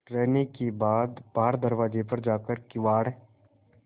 रहने के बाद बाहर दरवाजे पर जाकर किवाड़